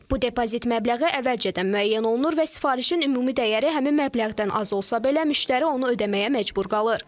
Bu depozit məbləği əvvəlcədən müəyyən olunur və sifarişin ümumi dəyəri həmin məbləğdən az olsa belə, müştəri onu ödəməyə məcbur qalır.